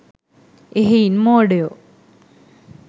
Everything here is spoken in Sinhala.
එහෙයින් මෝඩයෝ